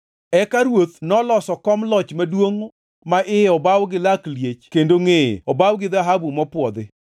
Eka ruoth noloso kom loch maduongʼ ma iye obaw gi lak liech kendo ngʼeye obaw gi dhahabu mopwodhi.